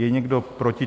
Je někdo proti?